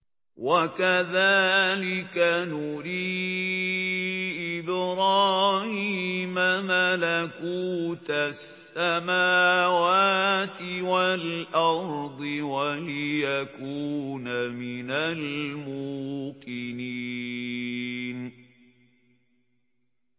وَكَذَٰلِكَ نُرِي إِبْرَاهِيمَ مَلَكُوتَ السَّمَاوَاتِ وَالْأَرْضِ وَلِيَكُونَ مِنَ الْمُوقِنِينَ